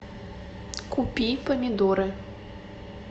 купи помидоры